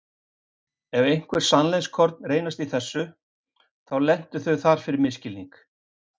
Ef einhver sannleikskorn leynast í því, þá lentu þau þar fyrir misskilning.